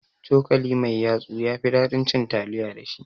Cokali mai yatsu yafi ɗaɗin cin taliya da shi